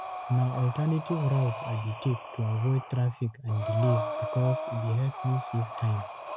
Na alternative routes I dey take to avoid traffic and delays because e dey help me save time.